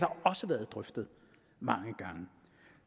også været drøftet mange gange